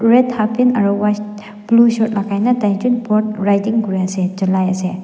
red halfpant aru white blue shirt logai tai jont boat riding kori ase cholai ase.